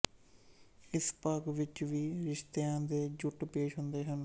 ਇਸ ਭਾਗ ਵਿੱਚ ਵੀ ਰਿਸ਼ਤਿਆਂ ਦੇ ਜੁੱਟ ਪੇਸ਼ ਹੁੰਦੇ ਹਨ